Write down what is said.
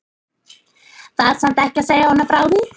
Var samt ekki að segja honum frá því.